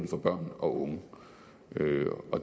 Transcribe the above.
for børn og unge